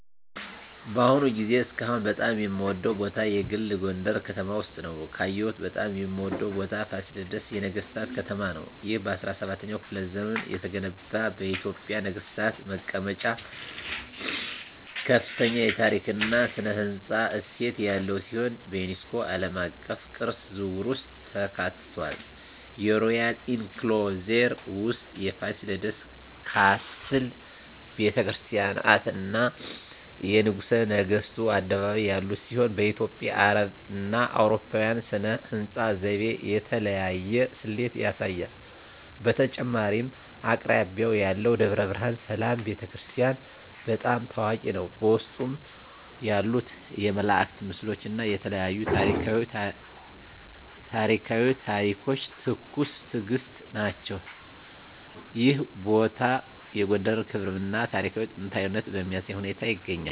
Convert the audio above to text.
በአሁኑ ጊዜ እስካሁን በጣም የምወደዉ ቦታ የግል ጎንደረ ከተማ ውስጥ ነዉ። ካየሁት በጣም የምወደው ቦታ ፋሲለደስ የነገሥታት ከተማ ነው። ይህ በ17ኛው ክፍለ ዘመን የተገነባ የኢትዮጵያ ነገሥታት መቀመጫ ከፍተኛ የታሪክ እና ሥነ ሕንፃ እሴት ያለው ሲሆን፣ በዩኔስኮ ዓለም አቀፍ ቅርስ ዝርዝር ውስጥ ተካትቷል። የሮያል ኢንክሎዜር ውስጥ የፋሲለደስ ካስል፣ ቤተ ክርስቲያናት፣ እና የንጉሠ ነገሥቱ አደባባይ ያሉት ሲሆን፣ በኢትዮጵያ፣ አረብና አውሮፓዊ ሥነ ሕንፃ ዘይቤ የተለያየ ስሌት ያሳያል። በተጨማሪም አቅራቢያው ያለው ደብረ ብርሃን ሰላም ቤተ ክርስቲያን** በጣም ታዋቂ ነው፣ በውስጡ ያሉት የመላእክት ምስሎች እና የተለያዩ ታሪኳዊ ታሪኮች ትኩስ ትእግስት ናቸው። ይህ ቦታ የጎንደርን ክብራም እና ታሪካዊ ጥንታዊነት በሚያሳይ ሁኔታ ይገኛል።